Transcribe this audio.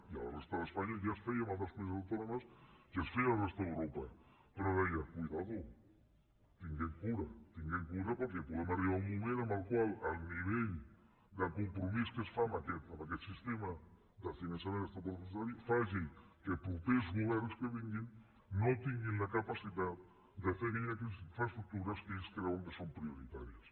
a la resta d’espanya ja es feia en altres comunitats autònomes i es feia a la resta d’europa però deia compte tinguem cura tinguem cura perquè podem arribar a un moment en què el nivell de compromís que es fa amb aquest sistema de finançament extrapressupostari faci que propers governs que vinguin no tinguin la capacitat de fer aquelles infraestructures que ells creuen que són prioritàries